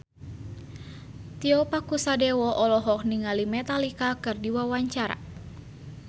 Tio Pakusadewo olohok ningali Metallica keur diwawancara